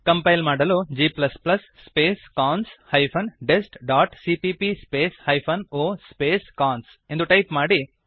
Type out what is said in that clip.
compile ಮಾಡಲು g space cons hyphen dest dot CPP space hyphen o space cons ಎಂದು type ಮಾಡಿರಿ